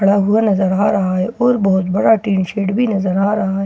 खड़ा हुआ नजर आ रहा हैं और बहुत बड़ा टीन शेड बी नजर आ रहा हैं --